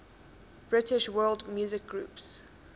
british world music groups